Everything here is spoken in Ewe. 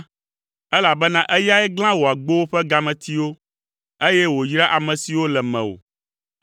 elabena eyae glã wò agbowo ƒe gametiwo, eye wòyra ame siwo le mewò.